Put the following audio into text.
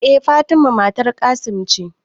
E Fatima matar Qassim ce